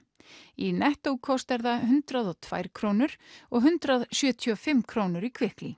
í Netto kostar það hundrað og tvær krónur og hundrað sjötíu og fimm krónur í